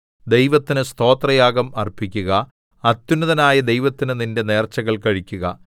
ദൈവത്തിന് സ്തോത്രയാഗം അർപ്പിക്കുക അത്യുന്നതനായ ദൈവത്തിന് നിന്റെ നേർച്ചകൾ കഴിക്കുക